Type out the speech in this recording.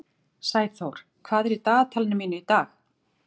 Sæþór, hvað er í dagatalinu mínu í dag?